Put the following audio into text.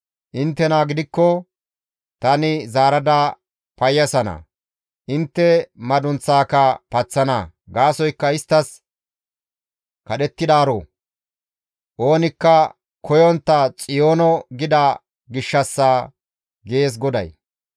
Inttena gidikko tani zaarada payyisana; intte madunththaaka paththana. Gaasoykka isttas, ‹Kadhettidaaro; oonikka koyontta Xiyoono› gida gishshassa» gees GODAY.